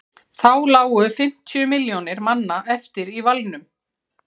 þá lágu fimmtíu milljónir manna eftir í valnum